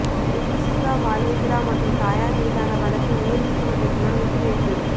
விபூசிகா பாலேந்திரா மற்றும் தாயார் மீதான வழக்கு உயர் நீதிமன்றத்தினால் ஒத்திவைப்பு